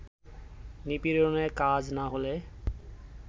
নিপীড়নে কাজ না হলে